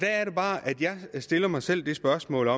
er det bare at jeg stiller mig selv spørgsmålet